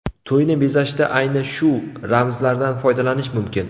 To‘yni bezashda ayni shu ramzlardan foydalanish mumkin.